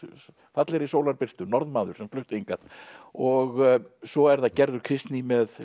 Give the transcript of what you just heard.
fallegri Norðmaður sem flutti hingað og svo er það Gerður Kristný með